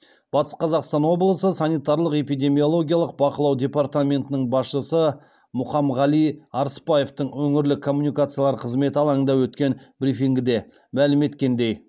батыс қазақстан облысы санитарлық эпидемиологиялық бақылау департаментінің басшысы мұхамғали арыспаевтың өңірлік коммуникациялар қызметі алаңында өткен брифингіде мәлім еткеніндей